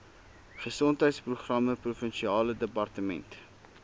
gesondheidsprogramme provinsiale departement